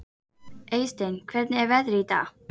Eysteinn, hvernig er veðrið í dag?